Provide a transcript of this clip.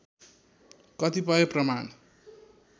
कतिपय प्रमाण